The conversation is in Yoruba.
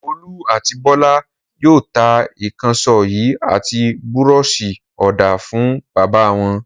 Olú àti Bọ́lá yóò ta ìkànṣó yìí àti búrọ́ṣì-ọ̀dà fún bàbá wọn.